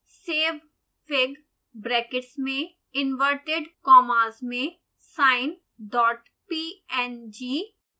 savefig brackets में inverted commas में sinepng